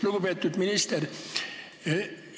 Lugupeetud minister!